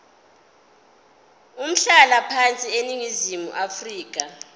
umhlalaphansi eningizimu afrika